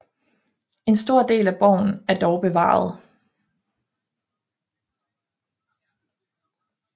En stor del af borgen er dog bevaret